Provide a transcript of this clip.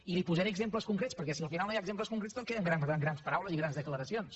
i li posaré exemples concrets perquè si al final no hi ha exemples concrets tot queda en grans paraules i grans declaracions